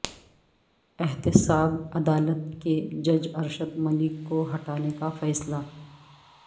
احتساب عدالت کے جج ارشد ملک کو ہٹانے کا فیصلہ